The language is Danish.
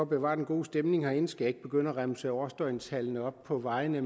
bevare den gode stemning herinde skal jeg ikke begynde at remse årsdøgntallene op på vejene